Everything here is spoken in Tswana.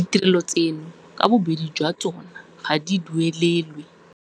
Ditirelo tseno ka bobedi jwa tsona ga di duelelwe.